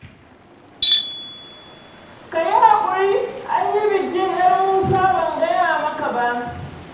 Ka yi haƙuri, an yi bikin 'yar Musa ban gaya maka ba.